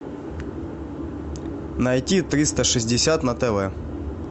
найти триста шестьдесят на тв